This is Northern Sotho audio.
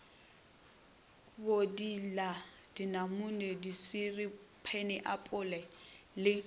bodila dinamune diswiri phaenapole le